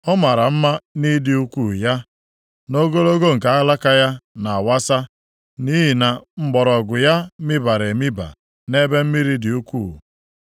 Ọ mara mma nʼịdị ukwuu ya, nʼogologo nke alaka ya nʼawasa, nʼihi na mgbọrọgwụ ya mibara emiba nʼebe mmiri dị ukwuu.